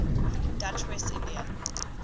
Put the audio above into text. dutch west india